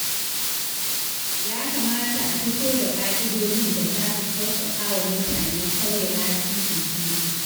Ya kamata a fito da ƙa'idojin da za su sauƙaƙa wa mutane sauya lasisin tuƙi.